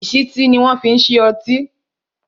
ìsítí ni wọn fi ń ṣí ọtí